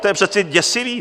To je přece děsivé!